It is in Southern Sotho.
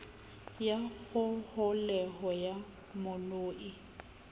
ya kgoholeho ya monu ii